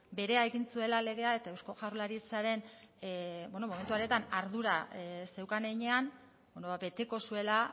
berea egin zuela legea eta eusko jaurlaritzaren beno momentu horretan ardura zeukan heinean beteko zuela